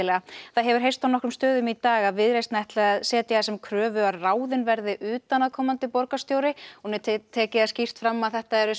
það hefur heyrst á nokkrum stöðum í dag að Viðreisn ætli að setja það sem kröfu að ráðinn verði utanaðkomandi borgarstjóri og ég tek það fram að þetta eru